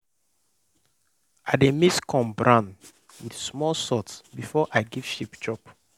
i dey mix corn bran with small salt before i give sheep chop.